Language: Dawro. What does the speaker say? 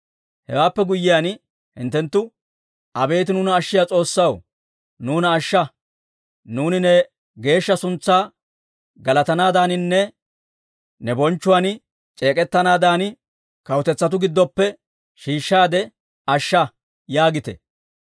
Hewaappe guyyiyaan hinttenttu, «Abeet nuuna ashshiyaa S'oossaw, nuuna ashsha. Nuuni ne geeshsha suntsaa galatanaadaaninne ne bonchchuwaan c'eek'ettanaadan, kawutetsatuu giddoppe shiishshaade ashsha» yaagite.